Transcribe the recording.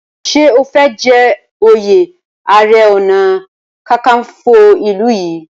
ṣe o fè jé oyè aré ọnà kankanfo ilú yí?